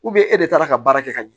e de taara ka baara kɛ ka ɲɛ